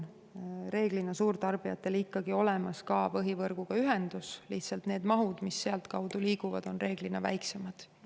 Suurtarbijatel on enamasti olemas ka põhivõrguga ühendus, lihtsalt need mahud, mis sealtkaudu liiguvad, on väiksemad.